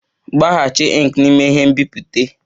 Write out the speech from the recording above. Refill ink n'ime onye nbipute!